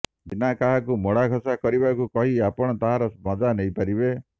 ବିନା କାହାକୁ ମୋଡ଼ାଘଷା କରିବାକୁ କହି ଆପଣ ତାହାର ମଜା ନେଇପାରିବେ